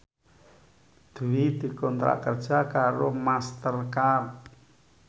Dwi dikontrak kerja karo Master Card